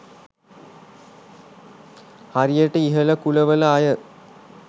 හරියට ඉහළ කුලවල අය